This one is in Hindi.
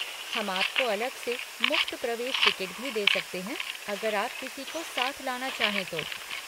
हम आपको अलग से मुफ़्त प्रवेश टिकट भी दे सकते हैं अगर आप किसी को साथ लाना चाहें तो।